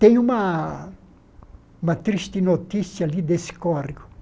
Tem uma uma triste notícia de desse córrego.